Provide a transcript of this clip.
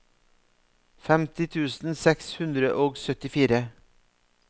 femti tusen seks hundre og syttifire